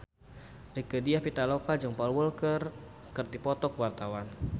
Rieke Diah Pitaloka jeung Paul Walker keur dipoto ku wartawan